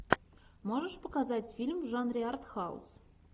можешь показать фильм в жанре артхаус